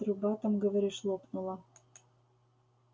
труба там говоришь лопнула